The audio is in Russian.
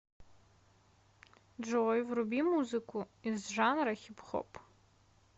джой вруби музыку из жанра хип хоп